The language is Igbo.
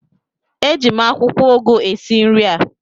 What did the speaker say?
Eji m akwụkwọ ụgụ esi nri a